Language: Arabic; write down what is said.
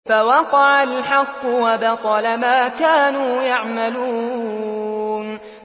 فَوَقَعَ الْحَقُّ وَبَطَلَ مَا كَانُوا يَعْمَلُونَ